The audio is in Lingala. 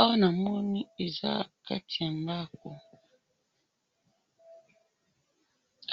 awa na moni eza kati ya ndaku